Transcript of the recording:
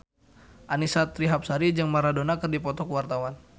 Annisa Trihapsari jeung Maradona keur dipoto ku wartawan